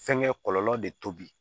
Fɛnkɛ kɔlɔlɔ de tobi